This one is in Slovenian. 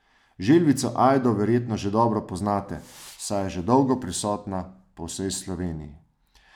Želvico Ajdo verjetno že dobro poznate, saj je že dolgo prisotna po vsej Sloveniji.